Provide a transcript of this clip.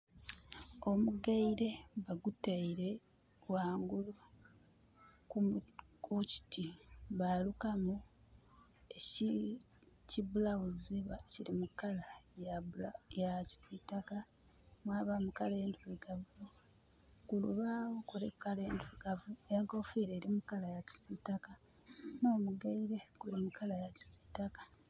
Omugaile bagutaile ghangulu ku kiti, ba lukamu eki blouse nga kili mu colour ya kisiitaka, mwabaamu colour endhirugavu. Ku lubaagho kuliku colour endhirugavu n'enkoofira eli mu colour ya kisiitaka. N'omugaile guli mu colour ya kisiitaka.